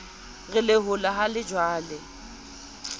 re lehola ha le jalwe